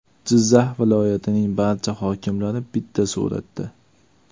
Jizzax viloyatining barcha hokimlari bitta suratda.